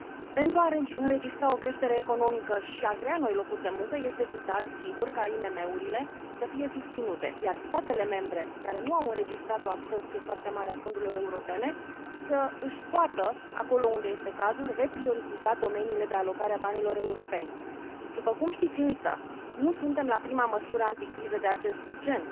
Pentru a înregistra o creștere economică și a crea noi locuri de muncă este vital ca IMM urile să fie susținute, iar statele membre care nu au înregistrat o absorbție foarte mare a fondurilor europene să își poată, acolo unde este cazul, reprioritiza domeniile de alocare a banilor europeni. După cum știți, însă, nu suntem la prima măsură anticriză de acest gen.